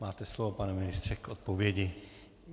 Máte slovo, pane ministře, k odpovědi.